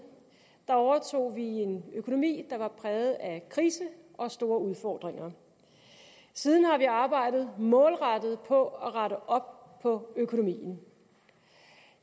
overtog vi en økonomi der var præget af krise og af store udfordringer siden har vi arbejdet målrettet på at rette op på økonomien